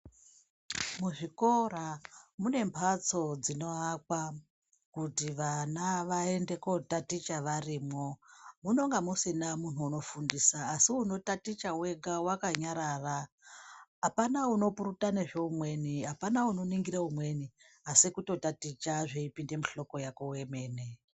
Muzvikora munemhatso dzinoakwa kuti vana vaende kotaticha varimwo. Munonga musina muntu unofundisa asikuti unotaticha wega wakanyarara, apana unopurutana zvoumweni, apana unoningira umweni asi kuti kutotaticha zveipinda muhloko yako wemene.